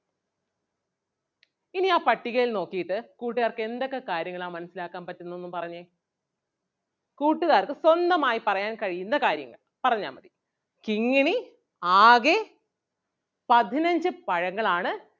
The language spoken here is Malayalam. ഇനി ആ പട്ടികയിൽ നോക്കിയിട്ട് കൂട്ടുകാർക്ക് എന്തൊക്കെ കാര്യങ്ങളാ മനസ്സിലാക്കാൻ പറ്റുന്നതൊന്ന് പറഞ്ഞേ. കൂട്ടുകാർക്ക് സ്വന്തമായി പറയാൻ കഴിയുന്ന കാര്യം പറഞ്ഞാ മതി. കിങ്ങിണി ആകെ പതിനഞ്ച് പഴങ്ങളാണ്